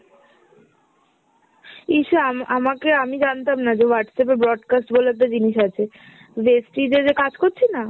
ইস আম~ আমাকে আমি জানতাম না যে Whatsapp এ ব্রডকাস্ট বলে একটা জিনিস আছে। যে যে কাজ করছি না